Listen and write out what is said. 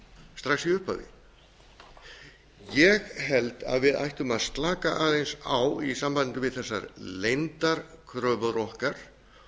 strax í upphafi ég held að við ættum að slaka aðeins á í sambandi við þessar leyndarkröfur okkar